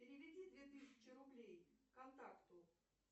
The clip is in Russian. переведи две тысячи рублей контакту